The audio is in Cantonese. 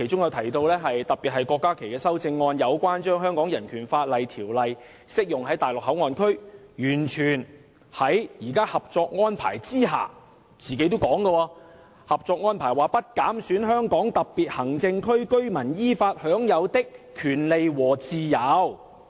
我在發言中曾特別提到郭家麒議員有關《香港人權法案條例》適用於內地口岸區的修正案，完全是體現《合作安排》所指"不減損香港特別行政區居民依法享有的權利和自由"。